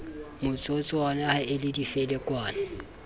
motsotswana ha e le difelekwane